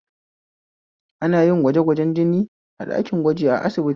Ana yin gwajegwajen jini ɗakin gwaji a asibiti